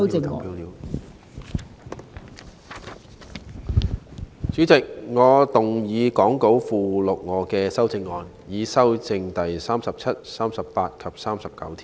代理主席，我動議講稿附錄我的修正案，以修正第37、38及39條。